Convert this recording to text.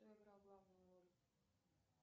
кто играл главную роль